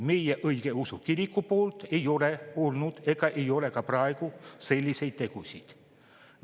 Meie õigeusu kiriku ei ole teinud ega tee ka praegu selliseid tegusid.